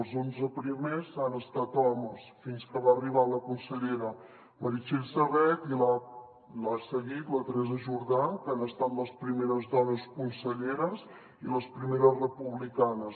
els onze primers han estat homes fins que va arribar la consellera meritxell serret i l’ha seguit la teresa jordà que han estat les primeres dones conselleres i les primeres republicanes